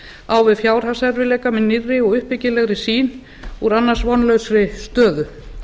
á við fjárhagserfiðleika með nýrri og uppbyggilegri sýn úr annars vonlausri stöðu